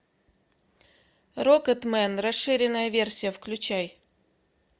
рокетмен расширенная версия включай